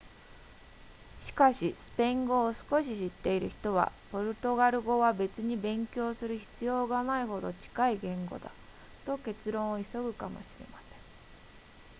しかしスペイン語を少し知っている人はポルトガル語は別に勉強する必要がないほど近い言語だと結論を急ぐかもしれません